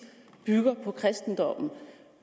bygger på kristendommen